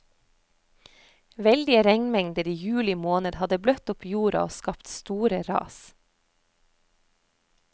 Veldige regnmengder i juli måned hadde bløtt opp jorden og skapt store ras.